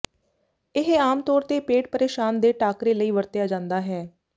ਇਹ ਆਮ ਤੌਰ ਤੇ ਪੇਟ ਪਰੇਸ਼ਾਨ ਦੇ ਟਾਕਰੇ ਲਈ ਵਰਤਿਆ ਜਾਂਦਾ ਹੈ